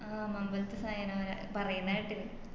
അഹ് മമ്പലത്ത് സയനോര പറയുന്ന കേട്ടിന്